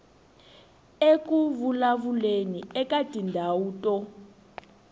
eku vulavuleni eka tindhawu to